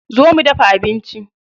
Zo mu dafa abinci.